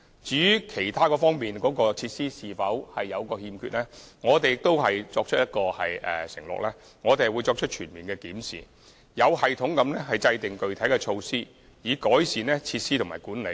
至於其他方面的設施是否有所欠缺，我們承諾進行全面檢視，並有系統地制訂具體措施，以改善設施和管理。